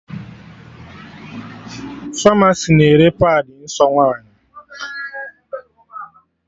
Famasi na-ere padị nsọ nwaanyị